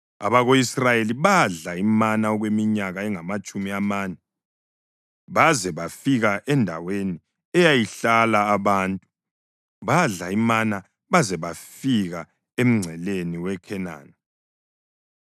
Abako-Israyeli badla imana okweminyaka engamatshumi amane baze bafika endaweni eyayihlala abantu, badla imana baze bafika emngceleni weKhenani.